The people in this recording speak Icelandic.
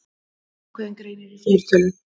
Ákveðinn greinir í fleirtölu.